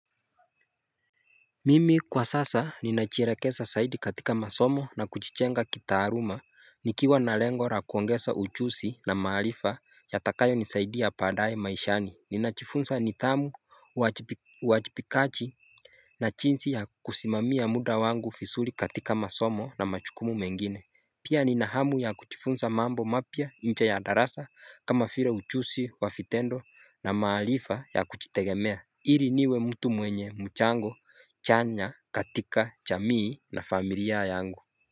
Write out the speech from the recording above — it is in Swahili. Mimi kwa sasa ninachirekesza saidi katika masomo na kuchichenga kitaaruma nikiwa na lengo ra kuongesa uchusi na mahalifa ya takayo nisaidi ya padaye maishani ninachifunsa nidhamu uwajipikachi na chinsi ya kusimami ya muda wangu fisuri katika masomo na machukumu mengine Pia ninahamu ya kuchifunsa mambo mapya incha ya darasa kama file uchusi wa fitendo na mahalifa ya kuchitegemea Iri niwe mtu mwenye mchango, chanya, katika, chamii na familia yangu.